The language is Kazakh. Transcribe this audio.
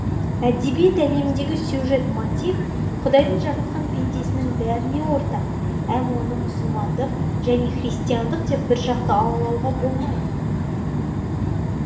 әдебиет әлеміндегі сюжет мотив құдайдың жаратқан пендесінің бәріне ортақ әм оны мұсылмандық және христиандық деп біржақты алалауға болмайды